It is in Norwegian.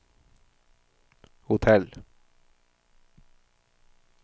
hotell